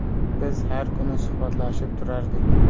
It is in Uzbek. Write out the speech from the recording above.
Biz har kuni suhbatlashib turardik.